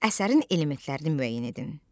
Əsərin elementlərini müəyyən edin.